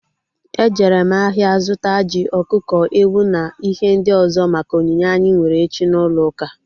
E jere m ahịa zụta ji, ọkụkọ, ewu na ihe ndị ọzọ maka onyinye anyị nwere echi n'ulouka